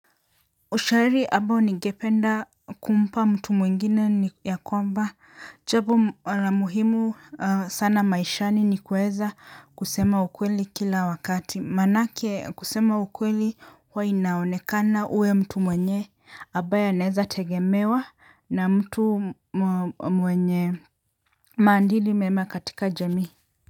Ushairi ambao nigependa kumpa mtu mwingine ni ya kwamba, jambo la muhimu sana maishani ni kueza kusema ukweli kila wakati, maanake kusema ukweli huwa inaonekana uwe mtu mwenye, ambaye anaeza tegemewa na mtu mwenye maandili mema katika jamii.